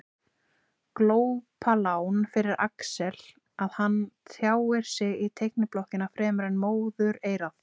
Glópalán fyrir Axel að hann tjáir sig í teikniblokkina fremur en móðureyrað.